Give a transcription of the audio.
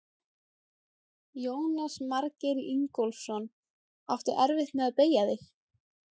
Jónas Margeir Ingólfsson: Áttu erfitt með að beygja þig?